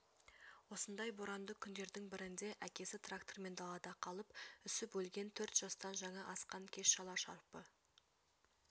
осындай боранды күндердің бірінде әкесі трактормен далада қалып үсіп өлген төрт жастан жаңа асқан кез шала-шарпы